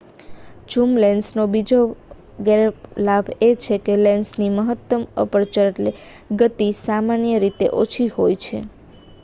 zoom લેન્સનો બીજો ગેરલાભ એ છે કે લેન્સની મહત્તમ અપર્ચર ગતિ સામાન્ય રીતે ઓછી હોય છે